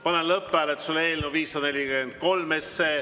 Panen lõpphääletusele eelnõu 543.